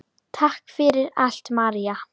Takk fyrir allt, María.